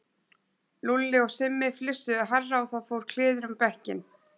Lúlli og Simmi flissuðu hærra og það fór kliður um bekkinn.